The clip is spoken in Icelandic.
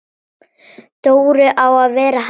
Dóri á að vera hann!